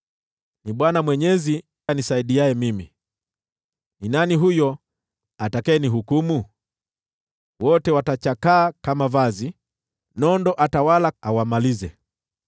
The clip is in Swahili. Ni Bwana Mwenyezi anisaidiaye mimi. Ni nani huyo atakayenihukumu? Wote watachakaa kama vazi, nondo watawala wawamalize.